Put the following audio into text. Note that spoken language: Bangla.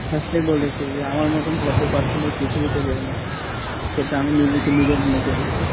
first এই বলেছি যে আমার মতোন ভদ্র person এই পৃথিবীতে কেও নাই, সেটা আমি নিজেকে নিজে মনে করি।